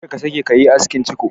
Kar ka sake ka yi askin ciko!